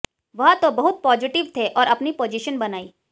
वह तो बहुत पॉजिटिव थे और अपनी पोजिशन बनाई